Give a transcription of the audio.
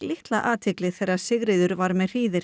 litla athygli þegar Sigríður var með